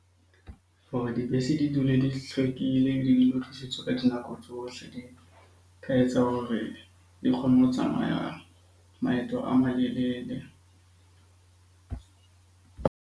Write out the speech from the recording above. Hore dibese di dule di hlwekile, di le ka dinako tsohle. Di ka etsa hore di kgone ho tsamaya maeto a malelele.